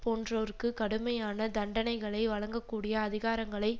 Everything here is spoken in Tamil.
போன்றோருக்கு கடுமையான தண்டனைகளை வழங்ககூடிய அதிகாரங்களை